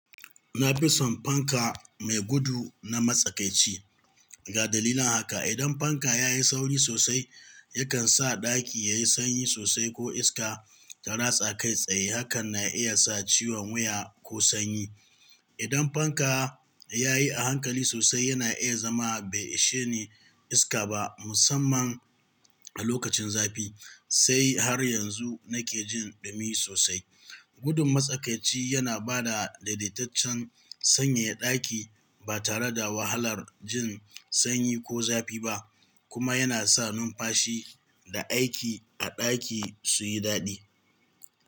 Na fi son fanka mai gudu na matsakaici. Ga dalilan haka. Idan fanka ya yi sauri sosai, yakan sa ɗaki yayi sanyi sosai ko iska ta ratsa kai tsaye. Hakan na iya sa ciwon wuya ko sanyi. Idan fanka ya yi a hankali sosai, yana iya zama bai ishe ni iska ba, musamman a lokacin zafi. Sai har yanzu nake jin ɗumi sosai. Gudun matsakaici yana ba da daidaitaccen sanyaya ɗaki ba tare da wahalar jin sanyi ko zafi ba, kuma yana sa numfashi da aiki a ɗaki su yi daɗi.